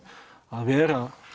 vera